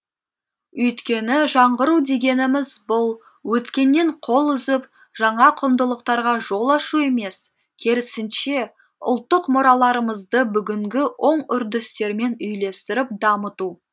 өйткені жаңғыру дегеніміз бұл өткеннен қол үзіп жаңа құндылықтарға жол ашу емес керісінше ұлттық мұраларымызды бүгінгі оң үрдістермен үйлестіріп дамыту